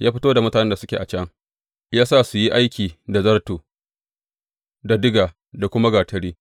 Ya fito da mutanen da suke a can, ya sa su su yi aiki da zarto, da diga, da kuma gatari,